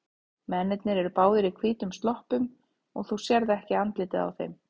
Mennirnir eru báðir í hvítum sloppum og þú sérð ekki andlitið á þeim.